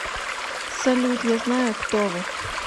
салют я знаю кто вы